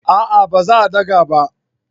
A'a ba za daga ba